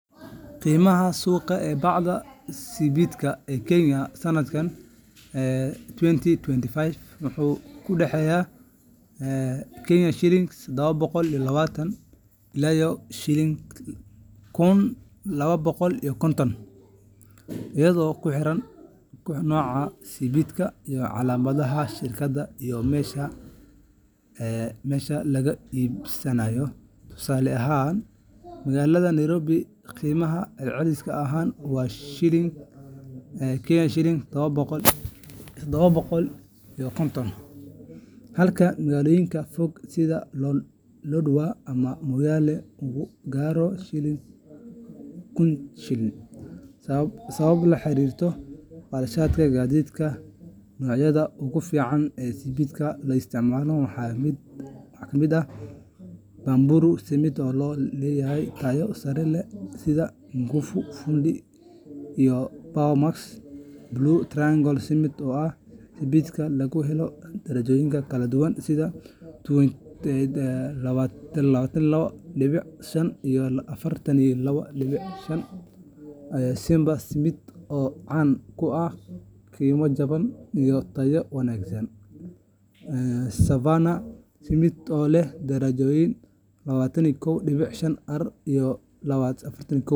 Qiimaha suuqa ee bacda sibidhka ee Kenya sanadkan 2025 wuxuu u dhexeeyaa KSh 720 ilaa KSh 1,250, iyadoo ku xiran nooca sibidhka, calaamadda shirkadda, iyo meesha laga iibsado. Tusaale ahaan, magaalada Nairobi qiimaha celcelis ahaan waa KSh 750, halka magaalooyinka fog sida Lodwar ama Moyale uu gaaro KSh 1,000 sababo la xiriira kharashka gaadiidka. Noocyada ugu fiican ee sibidhka la isticmaalo waxaa ka mid ah Bamburi Cement oo leh noocyo tayo sare leh sida Nguvu, Fundi iyo Powermax; Blue Triangle Cement oo ah sibidh laga helo darajooyin kala duwan sida 32.5 iyo 42.5; Simba Cement oo caan ku ah qiimo jaban iyo tayo wanaagsan; Savannah Cement oo leh darajooyin 32.5R iyo 42.5R; iyo Mombasa Cement oo lagu yaqaanno nooca Nyumba Cement. Marka la dooranayo sibidh, waxaa muhiim ah in la tixgeliyo nooca dhismaha lagu isticmaalayo si loo hubiyo in tayada iyo darajada sibidhka ay la jaanqaadaan shaqada.